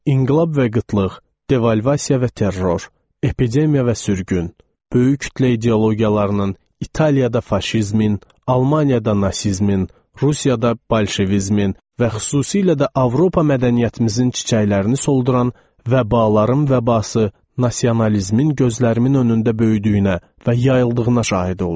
İnqilab və qıtlıq, devalvasiya və terror, epidemiya və sürgün, böyük kütlə ideologiyalarının İtaliyada faşizmin, Almaniyada nasizmin, Rusiyada bolşevizmin və xüsusilə də Avropa mədəniyyətimizin çiçəklərini solduran və buların vəbası, nasionalizmin gözlərimin önündə böyüdüyünə və yayıldığına şahid oldum.